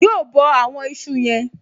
Yóò bọ àwọn ìṣù yen